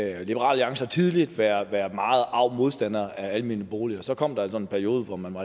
alliance har tidligere været været meget arg modstander af almene boliger men så kom der altså en periode hvor man var